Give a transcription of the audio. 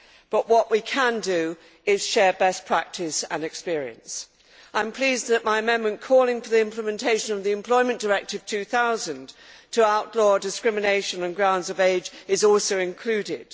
But what we can do is share best practice and experience. I am pleased that my amendment calling for the implementation of the Employment Directive 2000 to outlaw discrimination on the grounds of age is also included.